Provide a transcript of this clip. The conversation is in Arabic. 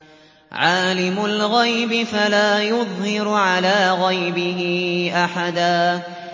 عَالِمُ الْغَيْبِ فَلَا يُظْهِرُ عَلَىٰ غَيْبِهِ أَحَدًا